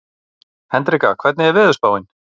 Hendrikka, hvernig er veðurspáin?